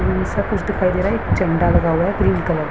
हम्म सबकुछ दिखाई दे रहा है झंडा लगा हुआ है एक ग्रीन कलर का।